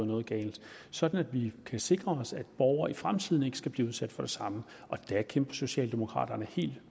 noget galt sådan at vi kan sikre os at borgere i fremtiden ikke skal blive udsat for det samme og der kæmper socialdemokraterne helt